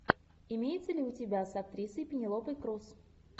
имеется ли у тебя с актрисой пенелопой крус